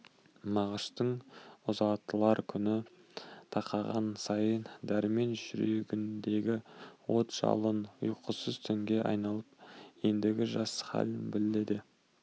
мағыштың ұзатылар күні тақаған сайын дәрмен жүрегіндегі от-жалын ұйқысыз түнге айналып ендігі жас халін биледі